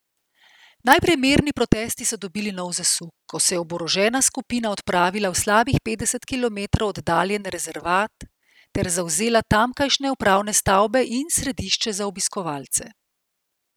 Najprej mirni protesti so dobili nov zasuk, ko se je oborožena skupina odpravila v slabih petdeset kilometrov oddaljen rezervat ter zavzela tamkajšnje upravne stavbe in središče za obiskovalce.